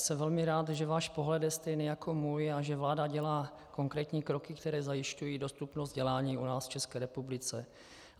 Jsem velmi rád, že váš pohled je stejný jako můj a že vláda dělá konkrétní kroky, které zajišťují dostupnost vzdělání u nás v České republice.